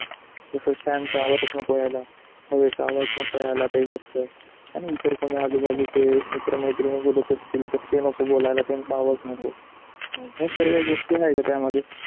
जस fan चा आवाज नको याला, हवे कहा आवाज नको याला पाहिजेत. आणि इतर कोणी आजू बाजू चे मित्र मैत्रिणी कुठ तरी चिंतात ते नको बोलायला त्यांचा आवाज नको या सर्वे गोष्टी नाही का त्या मध्ये.